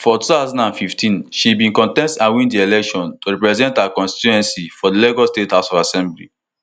for two thousand and fifteen she bin contest and win di election to represent her constituency for di lagos state house of assembly